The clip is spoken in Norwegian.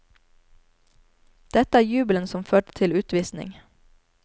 Dette er jubelen som førte til utvisning.